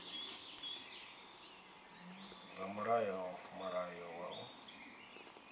dza mulayo mulayo wa u